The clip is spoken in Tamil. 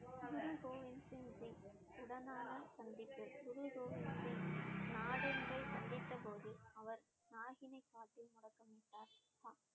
குருகோவிந் சிங் ஜி உடனான சந்திப்பு குருகோவிந் சிங் சந்தித்த போது அவர்